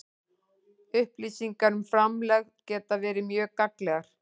Upplýsingar um framlegð geta verið mjög gagnlegar.